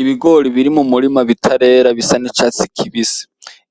Ibigori biri mu murima bitarera bisa nicatsi kibisi